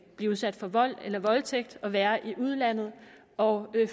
blive udsat for vold eller voldtægt og være i udlandet og